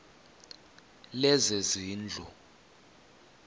lezezindlu